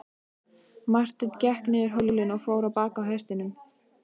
Marteinn gekk niður hólinn og fór á bak hestinum.